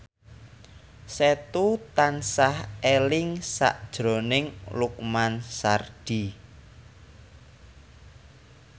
Setu tansah eling sakjroning Lukman Sardi